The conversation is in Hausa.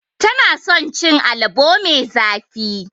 Tana son cin alabo mai zafi.